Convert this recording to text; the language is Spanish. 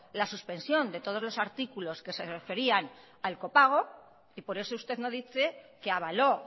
la suspensión de todos los artículos que se referían al copago y por eso usted no dice que avaló